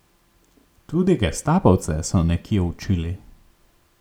Tudi gestapovce so nekje učili.